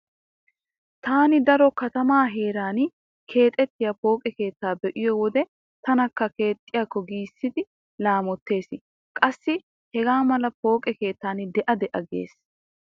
Taani daro katamaa heeran keexettiya pooqe keettaa be'iyo wode tanakka keexxiyakko giissidi laamottees. Qassi hegaa mala pooqe keettan de'a de'a giissees.